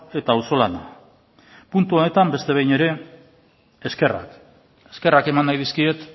eta auzolana puntu honetan beste behin ere eskerrak eskerrak eman nahi dizkiet